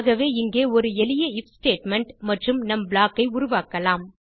ஆகவே இங்கே ஒரு எளிய ஐஎஃப் ஸ்டேட்மெண்ட் மற்றும் நம் ப்ளாக் ஐ உருவாக்கலாம்